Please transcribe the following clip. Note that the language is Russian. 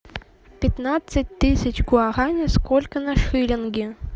пятнадцать тысяч гуарани сколько на шиллинги